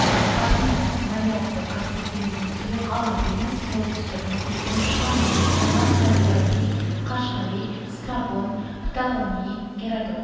париньяс марьято каспий теңізін тұйық алап емес солтүстік мұхиттың шығанағы санаған әл-фараби қашғари страбон птолемей геродот